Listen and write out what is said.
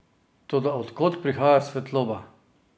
Toda od kod prihaja svetloba?